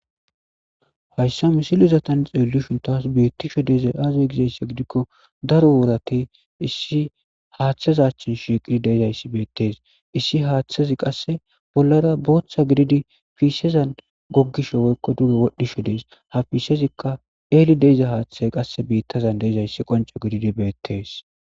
hayssa misilizatan xeellushon taas beittisho deezay aazoy gizaysse gidikko daro woorati issi haaththazachchin shiqidi deezayssi beettees issi haaththazi qasse bollara booththa gididi fiisezan goggisho woykko duge wodhdhisho dees hafisezikka eeli deiza haaththay qasse biittazan deezayssi qonce gididi beettees